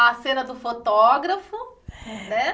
A cena do fotógrafo, né?